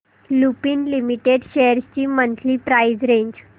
Lupin limited shares ची monthly price range